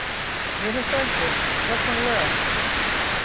Mér finnst það ekki, persónulega.